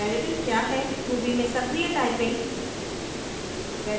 variable क्या है ruby में सक्रिय टाइपिंग